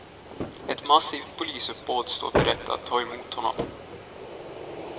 Ett massivt polisuppbåd står beredd att ta emot honom.